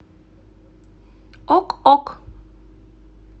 ок ок